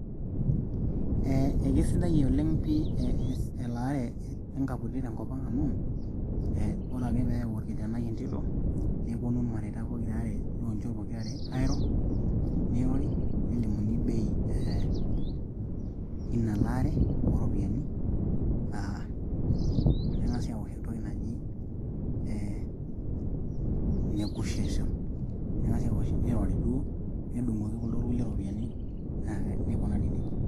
Ee ekesidai oleng' pi elaare enkaputi tenkop ang' amu, ee ore ake pee ayau orkijanai entito neponu irmareaita pokira aare oonchot pokira are airo, neirori lelimuni bei ee Ina laara ooropiyiani neng'asi aawosh entoki naji ee nekusheshon neirori duo nedung'oki kuldo kulie iropiyiani neikunari nejia.